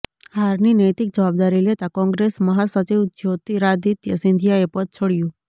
હારની નૈતિક જવાબદારી લેતા કોંગ્રેસ મહાસચિવ જ્યોતિરાદિત્ય સિંધિયાએ પદ છોડ્યુ